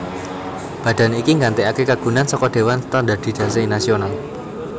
Badan iki nggantèkaké kagunan saka Dewan Standardisasi Nasional